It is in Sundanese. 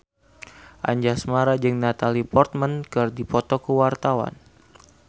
Anjasmara jeung Natalie Portman keur dipoto ku wartawan